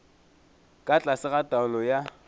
ka tlase ga taolo ya